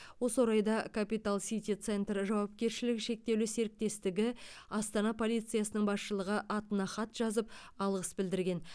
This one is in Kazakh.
осы орайда капитал сити центер жауакершілігі шектеулі серіктестігі астана полициясының басшылығы атына хат жазып алғыс білдірген